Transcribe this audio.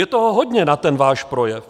Je toho hodně na ten váš projev.